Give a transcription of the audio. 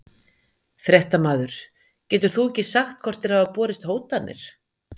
Fréttamaður: Getur þú ekki sagt hvort þér hafa borist hótanir?